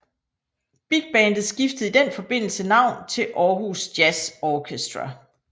Bigbandet skiftede i den forbindelse navn til Aarhus Jazz Orchestra